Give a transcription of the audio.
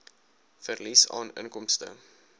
verlies aan inkomste